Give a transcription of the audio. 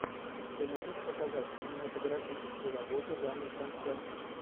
ты можешь показать кинематографическую работу жанр концерт